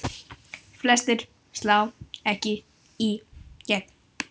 Flestir slá ekki í gegn.